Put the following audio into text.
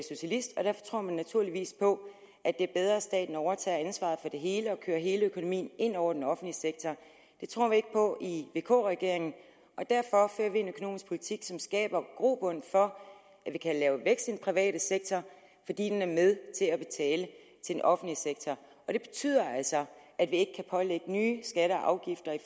socialist og derfor tror man naturligvis på at det er bedre at staten overtager ansvaret det hele og kører hele økonomien ind over den offentlige sektor det tror vi ikke på i vk regeringen og derfor fører vi en økonomisk politik som skaber grobund for at vi kan lave vækst i den private sektor fordi den er med til at betale til den offentlige sektor og det betyder altså at vi ikke kan pålægge nye skatter